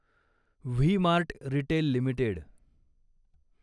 V Mart Retail limited